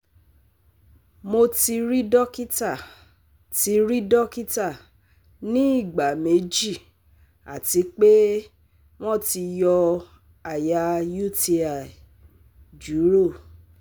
Mo ti ri dokita ti ri dokita ni igba meji ati pe wọn ti yọ aya UTI juro